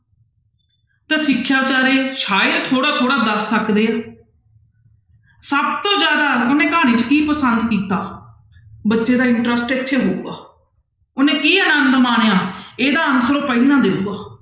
ਤਾਂ ਸਿਖਿਆ ਬੇਚਾਰੇ ਸ਼ਾਇਦ ਥੋੜ੍ਹਾ ਥੋੜ੍ਹਾ ਦੱਸ ਸਕਦੇ ਆ ਸਭ ਤੋਂ ਜ਼ਿਆਦਾ ਉਹਨੇ ਕਹਾਣੀ 'ਚ ਕੀ ਪਸੰਦ ਕੀਤਾ, ਬੱਚੇ ਦਾ interest ਇੱਥੇ ਹੋਊਗਾ, ਉਹਨੇ ਕੀ ਆਨੰਦ ਮਾਣਿਆ ਇਹਦਾ answer ਉਹ ਪਹਿਲਾਂ ਦੇਊਗਾ।